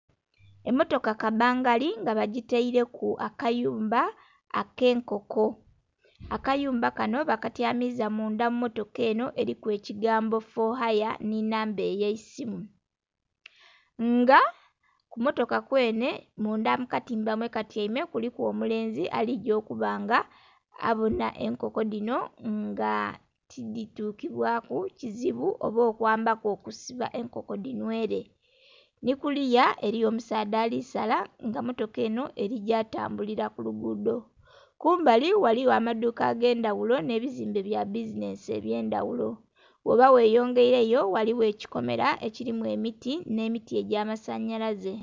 Emmotoka kabbangali nga bagitaireku akayumba ak'enkoko. Akayumba kanho bakatyamiza mundha mu mmotoka enho eliku ekigambo " For Hire" nhi namba ey'eisimu. Nga ku mmotoka kwenhe, mundha mu katimba mwe katyaime kuliku omulenzi aligya okuba nga abonha enkoko dhino nga tidhitukibwaku kizibu oba okwambaku okusiba enkoko dhinhwele. Nhi kuliya eliyo omusaadha ali sala nga mmotoka enho egya tambulila ku luguudo. Kumbali ghaligho amaduuka ag'endhagulo nh'ebizimbe bya bizinensi eby'endhaghulo, ghoba gheyongeileyo eliyo ekikomera ekilimu emiti nh'emiti egya masanhalaze.